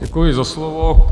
Děkuji za slovo.